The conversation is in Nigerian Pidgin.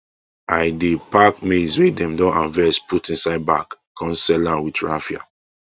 i dey pack maize wey dem don harvest put inside bag com seal am with raffia